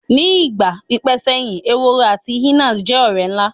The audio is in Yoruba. Ni igba pipẹ seyin Ehoro ati awọn hyenas jẹ ọrẹ nla